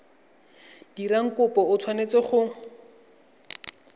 dirang kopo o tshwanetse go